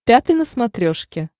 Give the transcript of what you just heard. пятый на смотрешке